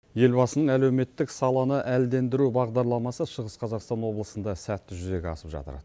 елбасының әлеуметтік саланы әлдендіру бағдарламасы шығыс қазақстан облысында сәтті жүзеге асып жатыр